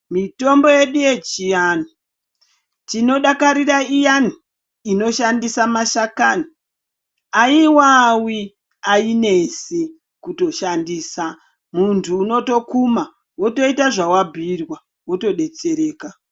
Mitombo yedu yechiantu tinodakarira iyani inoshandiswa mashakani. Ayiwawi, ayinesi kutoshandisa. Muntu unotokuma wotoita zvawabhuyirwa wotodetsereka.